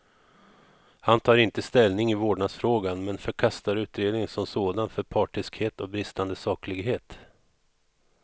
Han tar inte ställning i vårdnadsfrågan, men förkastar utredningen som sådan för partiskhet och bristande saklighet.